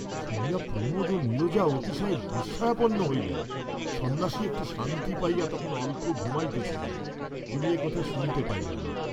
শুনিয়া প্রমোদ ও নীরজা অতিশয় বিস্ময়াপন্ন হইলেন, সন্ন্যাসী একটু শান্তি পাইয়া তখন অল্প ঘুমাইতেছিলেন, তিনি একথা শুনিতে পাইলেন না।